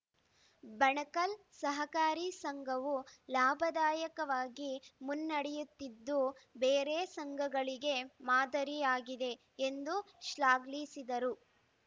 ಬಣಕಲ್‌ ಸಹಕಾರಿ ಸಂಘವು ಲಾಭದಾಯಕವಾಗಿ ಮುನ್ನಡೆಯುತ್ತಿದ್ದು ಬೇರೆ ಸಂಘಗಳಿಗೆ ಮಾದರಿಯಾಗಿದೆ ಎಂದು ಶ್ಲಾಘಿಲಿಸಿದರು